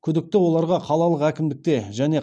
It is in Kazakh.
күдікті оларға қалалық әкімдікте және